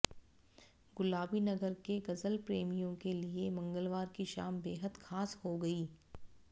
गुलाबी नगर के गजल प्रेमियों के लिए मंगलवार की शाम बेहद खास हो गई